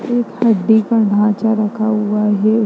एक हड्डी का ढांचा रखा हुआ है उसे--